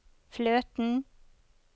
fløten